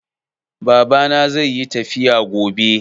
Babana zai yi tafiya gobe.